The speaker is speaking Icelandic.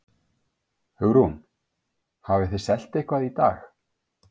Hugrún: Hafið þið selt eitthvað í dag?